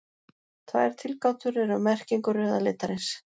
Tvær tilgátur eru um merkingu rauða litarins.